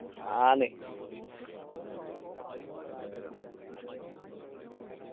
ആണ്